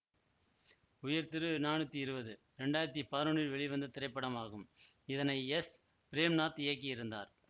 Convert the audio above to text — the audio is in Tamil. உயர்திரு நானூத்தி இருவது இரண்டாயிரத்தி பதினொன்னில் வெளிவந்த திரைப்படமாகும் இதனை எஸ் பிரேம்நாத் இயக்கியிருந்தார்